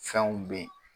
Fɛnw bɛ yen